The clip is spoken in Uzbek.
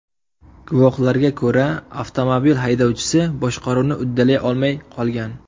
Guvohlarga ko‘ra, avtomobil haydovchisi boshqaruvni uddalay olmay qolgan.